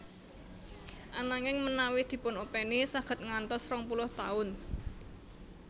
Ananging menawi dipunopèni saged ngantos rong puluh taun